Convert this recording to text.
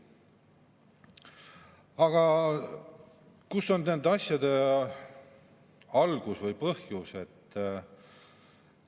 Aga kus on nende asjade algus või põhjus?